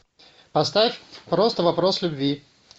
поставь просто вопрос любви